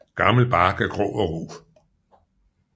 Gammel bark er grå og ru